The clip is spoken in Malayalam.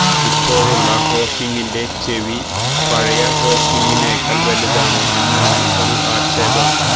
ഇപ്പോഴുള്ള ഹോക്കിങിന്റെ ചെവി പഴയ ഹോക്കിങിനേക്കാള് വലുതാണ് എന്നാണ് ഒരു ആക്ഷേപം